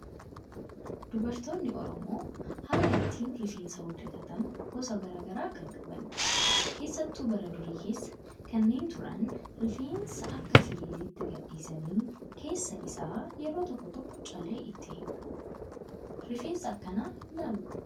Dubartoonni oromoo haala ittiin rifeensa hojjatatan gosa garaagaraa kan qabanidha. Keessattuu bara durii keessa kanneen turan rifeensa akka firiiziitti gadhiisanii keessa isaa yeroo tokko tokko callee itti hidhu. Rifeensa akkanaa kana ilaaluu qabda.